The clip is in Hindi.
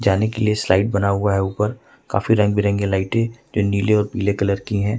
जाने के लिए स्लाइड बना हुआ है ऊपर काफी रंग बिरंगी लाइटें जो नील और पीले कलर की हैं।